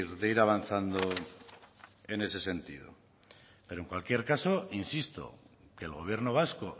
de ir avanzando en ese sentido pero en cualquier caso insisto que el gobierno vasco